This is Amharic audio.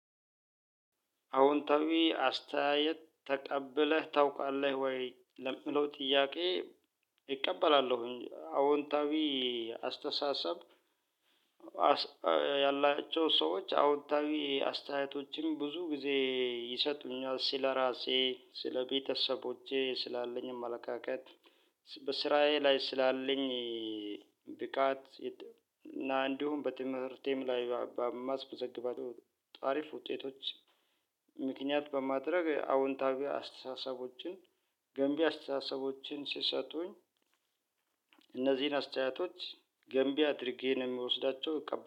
አዎንታዊ አስተያየት ተቀብለህ ታውቃለህ ወይ ለሚለው ጥያቄ? እቀበላሉሁኝ አዎንታዊ አስተሳሰብ። ያላቸው ሰዎች አዎንታዊ አስተያየቶችም ብዙ ጊዜ ይሰጡኛል ስለራሴ ስለቤተሰቦቼ ስላለኝ አመለካከት። በስራዬ ላይ ስላለኝ ብቃት እና እንዲሁም በትምህርቴም ላይ ባማስበዘግባቸው አሪፍ ውጤቶች። ምክንያት በማድረግ አወንታዊ አስተሳሰቦችን ገንቢ አስተሳሰቦችን ሲሰጡኝ። እነዚህን አስተያየቶች ገንቢ አድርጌ ነው የምወስዳቸው።